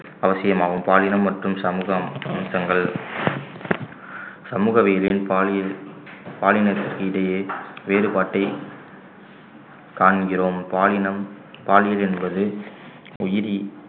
அவசியமாகும் பாலினம் மற்றும் சமூகம் தங்கள் சமூகவியயில் பாலியல் இடையே வேறுபாட்டை காண்கிறோம் பாலினம் பாலியல் என்பது உயிரி